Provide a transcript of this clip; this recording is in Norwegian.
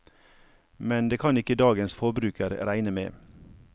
Men det kan ikke dagens forbruker regne med.